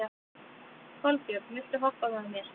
Kolbjörn, viltu hoppa með mér?